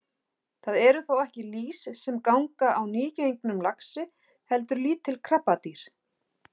Það eru þó ekki lýs sem hanga á nýgengnum laxi heldur lítil krabbadýr.